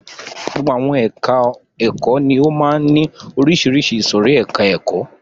Gbogbo ẹka ẹ̀kọ́ ni ó máa ń ní oríṣiríṣi ìsòrí ẹka ẹ̀kọ́.